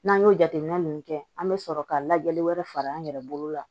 N'an y'o jateminɛ ninnu kɛ an bɛ sɔrɔ ka lajɛli wɛrɛ fara an yɛrɛ bolo la